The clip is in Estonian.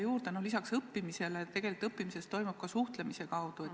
Ja ma lisan veel seda, et tegelikult toimub õppimine ka suhtlemise kaudu.